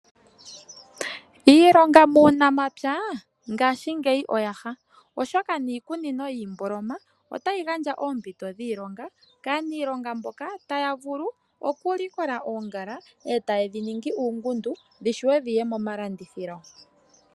Iilonga muunamapya oyaha ohoka niikunino yiimboloma otayi gandja oompito dhiilonga kaanilonga mboka taya vulu okulikola oongala etaye dhiningi uundumba dhi vule okuya momalandithilo.